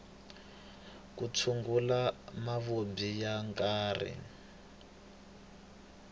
ku tshungula mavabyi ya nkarhi